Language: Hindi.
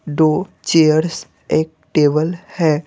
दो चेयर्स एक टेबल है।